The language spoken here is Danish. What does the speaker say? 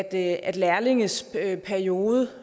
at at lærlinges læreperiode